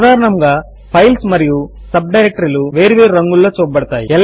సాధారణముగా ఫైల్స్ మరియు సబ్ డైరెక్టరీలు వేరు వేరు రంగులలో చూపబడతాయి